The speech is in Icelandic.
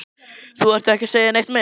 Þú þarft ekki að segja neitt meira